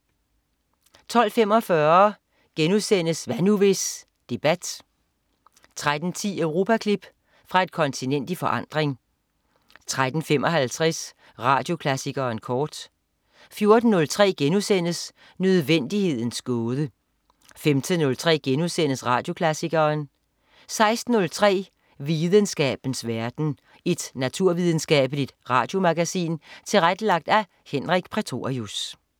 12.45 Hvad nu, hvis? Debat* 13.10 Europaklip. Fra et kontinent i forandring 13.55 Radioklassikeren kort 14.03 Nødvendighedens gåde* 15.03 Radioklassikeren* 16.03 Videnskabens verden. Et naturvidenskabeligt radiomagasin tilrettelagt af Henrik Prætorius